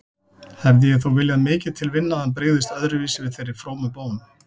Hefði ég þó viljað mikið til vinna að hann brygðist öðruvísi við þeirri frómu bón.